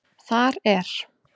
Þar er